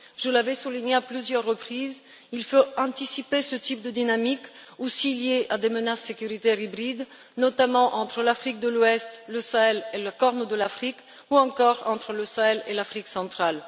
Je l'avais souligné à plusieurs reprises, il faut anticiper ce type de dynamique aussi liée à des menaces sécuritaires hybrides, notamment entre l'Afrique de l'Ouest, le Sahel et la Corne de l'Afrique, ou encore entre le Sahel et l'Afrique centrale.